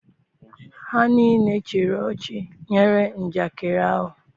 ha nile chịrị ochi nyere njakịrị ahu.